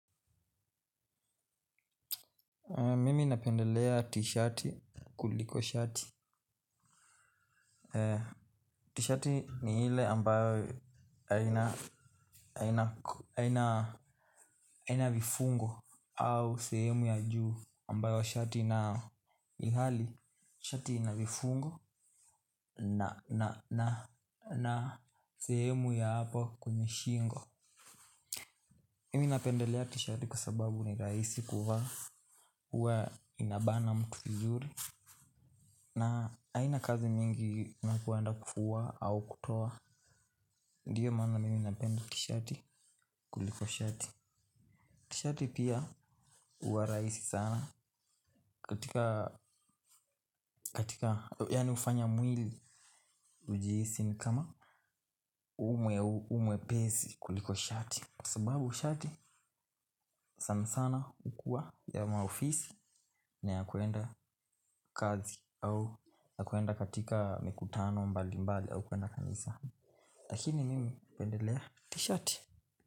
Mimi napendelea t-shirti kuliko shati T-shirt ni ile ambayo haina aina vifungo au sehemu ya juu ambayo shati inayo ilhali shati inavifungo na sehemu ya hapo kwenye shingo. Mimi napendelea t-shirti kwa sababu ni rahisi kuvaa huwa inabana mtu vizuri. Na haina kazi mingi na kueanda kufua au kutoa. Ndiyo maana mimi napenda tishati kuliko shati tishati pia huwa rahisi sana. Katika katika yaani hufanya mwili ujihisi ni kama ume umwepesi kuliko shati kwababu shati sana sana hukua ya maofisi. Na ya kuenda kazi au na kuenda katika mikutano mbali mbali au kuenda kanisa. Lakini mimi hupendelea tishati.